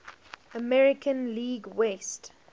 american league west